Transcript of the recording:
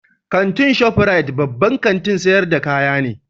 Kantin Shop Rite babban kantin sayar da kayyaki ne